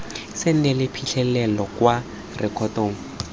se neele phitlhelelo kwa rekotong